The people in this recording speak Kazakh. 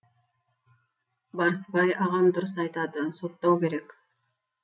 барысбай ағам дұрыс айтады соттау керек